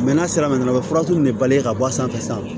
n'a sera de ka bɔ a sanfɛ sisan